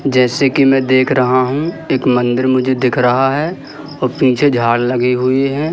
जैसे की मैं देख रहा हूं एक मंदिर मुझे दिख रहा है और पीछे झाड़ लगी हुईं हैं।